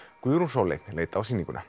Guðrún Sóley leit á sýninguna